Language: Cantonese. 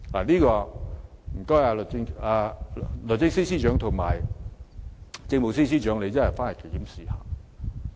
這方面有勞律政司司長和政務司司長檢討一下。